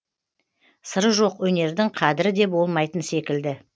сыры жоқ өнердің қадірі де болмайтын секілді